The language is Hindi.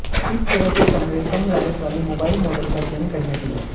इस तरह के कमरे कम लागत वाली मोबाइल मॉडल का चयन करने के लिए